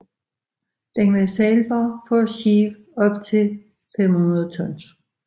Den var sejlbar for skibe op til 500 tons